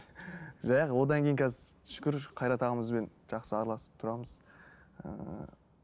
одан кейін қазір шүкір қайрат ағамызбен жақсы араласып тұрамыз ыыы